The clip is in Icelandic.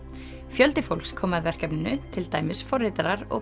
fjöldi fólks kom að verkefninu til dæmis forritarar og